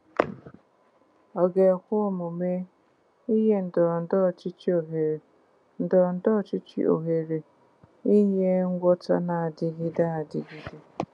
Ọ ga-ekwe omume inye ndọrọndọrọ ọchịchị ohere ndọrọndọrọ ọchịchị ohere inye ngwọta na-adịgide adịgide?